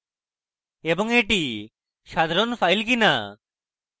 এবং এটি সাধারন file কিনা